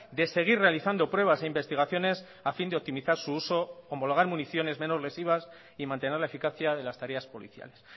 de seguir realizando pruebas e investigaciones a fin de optimizar su uso homologar municiones menos lesivas y mantener la eficacia de las tareas policiales